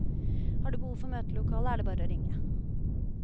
Har du behov for møtelokale, er det bare å ringe.